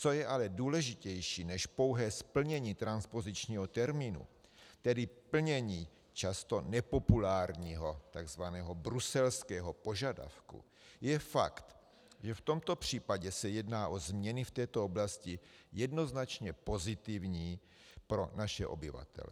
Co je ale důležitější než pouhé splnění transpozičního termínu, tedy plnění často nepopulárního tzv. bruselského požadavku, je fakt, že v tomto případě se jedná o změny v této oblasti jednoznačně pozitivní pro naše obyvatele.